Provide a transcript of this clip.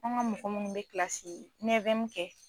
An ka mɔgɔ munnuw bi kɛ